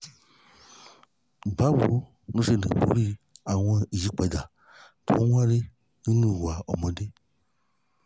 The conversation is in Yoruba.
báwo lo ṣe lè borí àwọn àyípadà tó ń wáyé nínú ìwà ọmọdé?